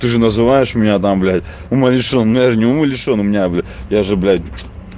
ты же называешь меня там блядь умалишён но я же не умалешён у меня бля я же бля